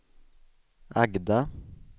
Agda